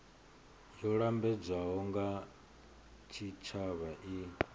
yo lambedzwaho nga tshitshavha i